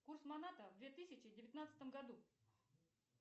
курс маната в две тысячи девятнадцатом году